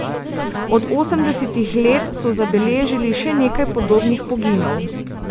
Od osemdesetih let so zabeležili še nekaj podobnih poginov.